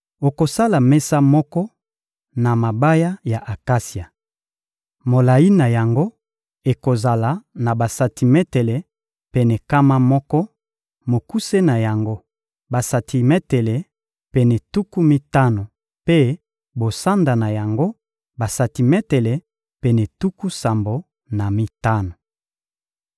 Okosala mesa moko na mabaya ya akasia. Molayi na yango ekozala na basantimetele pene nkama moko; mokuse na yango, basantimetele pene tuku mitano mpe bosanda na yango, basantimetele pene tuku sambo na mitano.